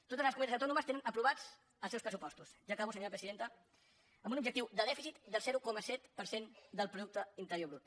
totes les comunitats autònomes tenen aprovats els seus pressupostos ja acabo senyora presidenta amb un objectiu de dèficit del zero coma set per cent del producte interior brut